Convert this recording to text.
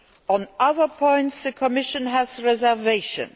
On other points, the Commission has reservations.